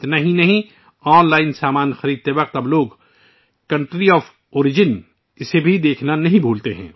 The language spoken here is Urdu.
اتنا ہی نہیں، آج کل لوگ آن لائن سامان کی خریداری کے دوران کنٹری آف اوریجن کو چیک کرنا نہیں بھولتے